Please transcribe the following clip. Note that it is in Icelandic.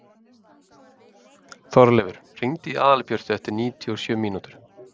Þorleifur, hringdu í Aðalbjörtu eftir níutíu og sjö mínútur.